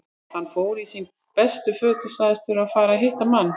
Hann fór í sín bestu föt og sagðist þurfa að fara og hitta mann.